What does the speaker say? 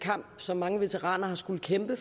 kamp som mange veteraner har skullet kæmpe